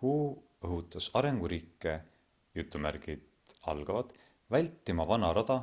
hu õhutas arenguriike vältima vana rada